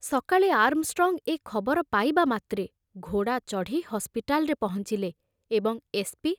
ସକାଳେ ଆର୍ମଷ୍ଟ୍ରଙ୍ଗ ଏ ଖବର ପାଇବା ମାତ୍ରେ ଘୋଡ଼ା ଚଢ଼ି ହସ୍ପିଟାଲରେ ପହଞ୍ଚିଲେ ଏବଂ ଏସ୍ ପି